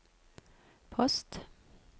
post